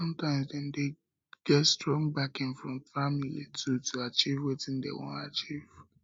sometimes dem de get strong backing from family too to achieve wetin dem won achieve